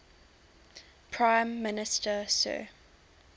prime minister sir